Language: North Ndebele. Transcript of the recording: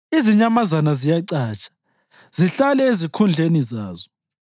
Izinyamazana ziyacatsha; zihlale ezikhundleni zazo.